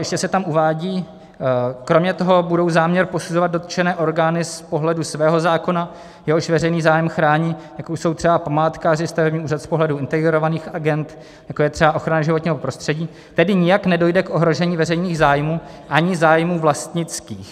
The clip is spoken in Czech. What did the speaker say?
Ještě se tam uvádí: kromě toho budou záměr posuzovat dotčené orgány z pohledu svého zákona, jehož veřejný zájem chrání, jako jsou třeba památkáři, stavební úřad z pohledu integrovaných agend, jako je třeba ochrana životního prostředí, tedy nijak nedojde k ohrožení veřejných zájmů ani zájmů vlastnických.